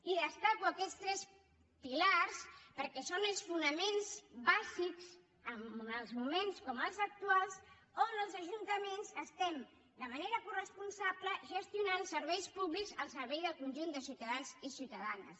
i destaco aquests tres pilars perquè són els fonaments bàsics en uns moments com els actuals on els ajuntaments gestionem de manera coresponsable serveis públics al servei del conjunt de ciutadans i ciutadanes